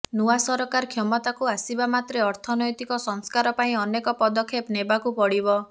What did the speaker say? ନୂଆ ସରକାର କ୍ଷମତାକୁ ଆସିବା ମାତ୍ରେ ଅର୍ଥନୈତିକ ସଂସ୍କାର ପାଇଁ ଅନେକ ପଦକ୍ଷେପ ନେବାକୁ ପଡିବ